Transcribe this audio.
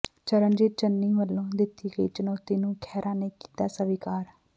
ਚਰਨਜੀਤ ਚੰਨੀ ਵੱਲੋਂ ਦਿੱਤੀ ਗਈ ਚੁਣੌਤੀ ਨੂੰ ਖਹਿਰਾ ਨੇ ਕੀਤਾ ਸਵੀਕਾਰ